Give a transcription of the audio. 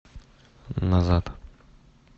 назад